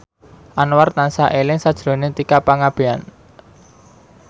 Anwar tansah eling sakjroning Tika Pangabean